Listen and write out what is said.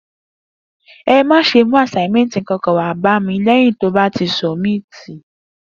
E mà sẹ mú asàímẹtí kankan wà bà mí lẹyín tọ bà ti sọbímití!